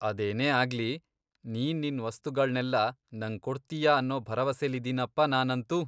ಅದೇನೇ ಆಗ್ಲಿ, ನೀನ್ ನಿನ್ ವಸ್ತುಗಳ್ನೆಲ್ಲ ನಂಗ್ ಕೊಡ್ತೀಯಾ ಅನ್ನೋ ಭರವಸೆಲಿದೀನಪ ನಾನಂತೂ.